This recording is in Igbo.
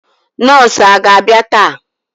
Nọọsụ aga abia taa?